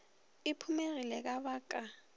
e phumegile ka ba ka